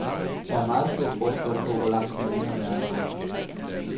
Der er meget stor forskel på, hvor langt kommunerne er nået.